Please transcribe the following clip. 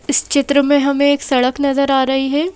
इस चित्र में हमें एक सड़क नजर आ रही है।